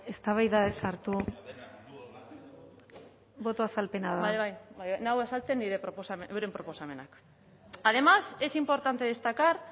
eztabaida ez sortu boto azalpena da nago azaltzen nire proposamenak además es importante destacar